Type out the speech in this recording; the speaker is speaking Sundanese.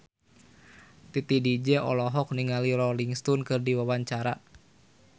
Titi DJ olohok ningali Rolling Stone keur diwawancara